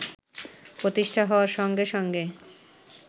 প্রতিষ্ঠা হওয়ার সঙ্গে সঙ্গে